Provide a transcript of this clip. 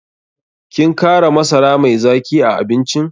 Kin kara masara mai zaki a abincin?